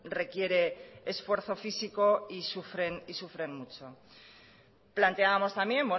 requiere esfuerzo físico y sufren mucho planteábamos también